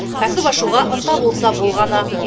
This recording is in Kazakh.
кәсіп ашуға ынта болса болғаны